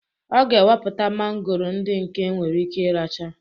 Ọ ga eweputa mangoro ndị nke enwere ike iracha